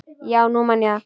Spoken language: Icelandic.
Já, nú man ég það.